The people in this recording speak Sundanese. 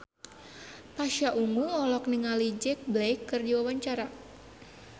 Pasha Ungu olohok ningali Jack Black keur diwawancara